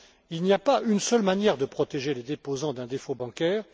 Il n'y a pas qu'une seule manière de protéger les déposants d'un défaut bancaire.